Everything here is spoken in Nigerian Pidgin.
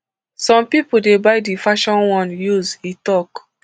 some pipo dey buy di fashion one use e tok